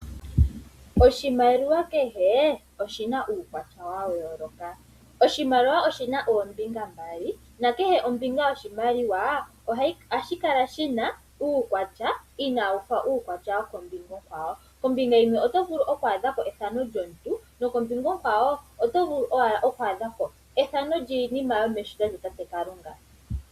Oshimaliwa kehe oshina uukwatya wa yooloka, oshimaliwa oshina oombinga mbali nakehe ombinga yoshimaliwa ohayi kala yina uukwatya inaawu fa uukwatya wokombinga onkwawo. Kombinga yimwe oto vulu oku adha ko efano lyomuntu nokombinga onkwawo oto vulu owala oku adha ko efano lyiinima yomeshito lya tate Kalunga.